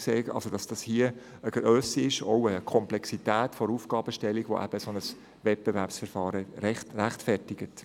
Das Projekt weist eine Grösse und eine Komplexität der Aufgabenstellung auf, die ein Wettbewerbsverfahren rechtfertigt.